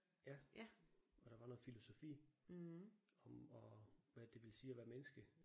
Ja. Og der var noget filosofi om at hvad det ville sige at være menneske